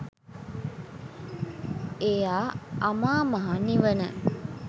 එයා අමා මහ නිවන